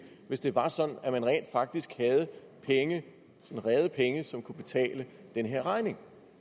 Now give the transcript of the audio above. hvis det var sådan at man rent faktisk havde penge rede penge som kunne betale den her regning